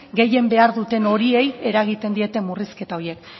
gehien behar duten horiei eragiten diete murrizketa horiek